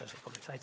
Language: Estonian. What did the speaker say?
Aitäh!